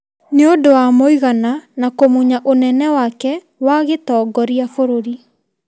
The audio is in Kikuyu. nĩ ũndũ wa mũigana na kũmunya ũnene wake wa gĩtongoria bũrũri.